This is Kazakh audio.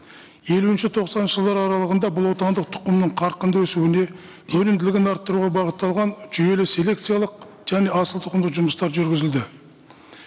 елуінші тоқсаныншы жылдары аралығында бұл отандық тұқымның қарқынды өсуіне өнімділігін арттыруға бағытталған жүйелі селекциялық және асылтұқымды жұмыстар жүргізілді